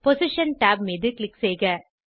position tab மீது click செய்க